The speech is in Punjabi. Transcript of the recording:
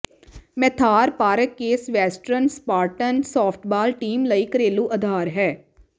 ਮੈਥਾਰ park Case Western Spartan softball team ਲਈ ਘਰੇਲੂ ਅਧਾਰ ਹੈ